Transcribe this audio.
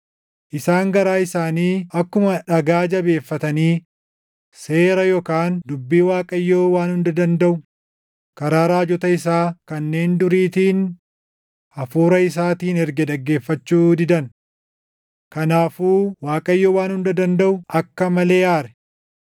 Isaan garaa isaanii akkuma dhagaa jabeeffatanii seera yookaan dubbii Waaqayyo Waan Hunda Dandaʼu karaa raajota isaa kanneen duriitiin Hafuura isaatiin erge dhaggeeffachuu didan. Kanaafuu Waaqayyo Waan Hunda Dandaʼu akka malee aare.